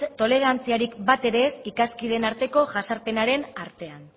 tolerantziarik bat ere ez ikaskideen arteko jazarpenaren artean